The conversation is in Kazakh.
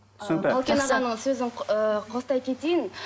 түсінікті қалкен ағаның сөзін ыыы қостай кетейін